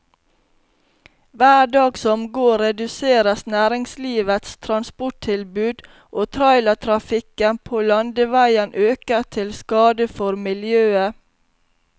Hver dag som går reduseres næringslivets transporttilbud, og trailertrafikken på landeveien øker til skade for miljøet.